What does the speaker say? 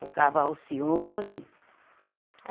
Tocava Alcione. Eh